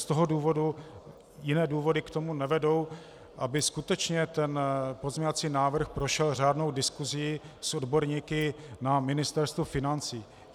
Z toho důvodu - jiné důvody k tomu nevedou, aby skutečně ten pozměňovací návrh prošel řádnou diskusí s odborníky na Ministerstvu financí.